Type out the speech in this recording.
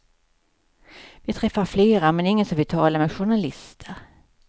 Vi träffar flera, men ingen som vill tala med journalister.